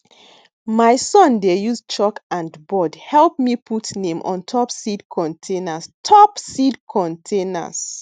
my son dey use chalk and board help me put name on top seed containers top seed containers